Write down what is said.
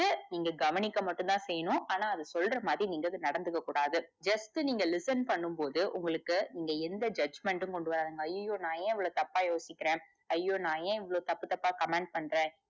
நீங்க கவனிக்க மட்டும்தா செய்யணு ஆனா அது சொல்ற மாதிரி நீங்க அது நடந்துக்க கூடாது just நீங்க அத listen பண்ணும் போது உங்களுக்கு இங்க எந்த judgement டும் கொண்டுவராதிங்க ஐயயோ நா ஏன் இவ்வளவு தப்பா யோசிக்கிற ஐயோ நா ஏன் இவ்வளவு தப்பு தப்பா command பண்ற